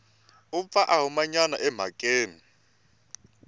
u pfa a humanyana emhakeni